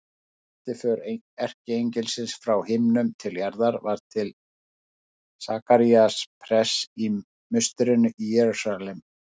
Þriðja sendiför erkiengilsins frá himnum til jarðar var til Sakaría prests í musterinu í Jerúsalem.